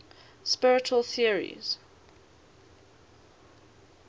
spiritual theories